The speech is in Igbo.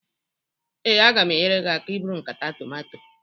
ee, a ga m enyere gị aka iburu nkata tomato